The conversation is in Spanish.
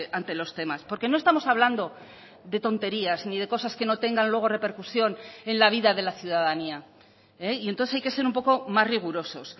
ante los temas porque no estamos hablando de tonterías ni de cosas que no tengan luego repercusión en la vida de la ciudadanía y entonces hay que ser un poco más rigurosos